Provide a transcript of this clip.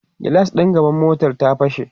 gilas ɗin gaban motar ta fashe